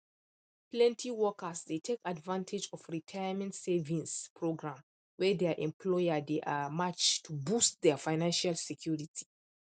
plenty workers dey take advantage of retirement savings program wey their employer dey um match to boost their financial security